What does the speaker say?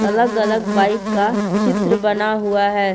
अलग अलग बाइक का चित्र बना हुआ है।